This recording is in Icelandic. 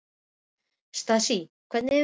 Stasía, hvernig er veðurspáin?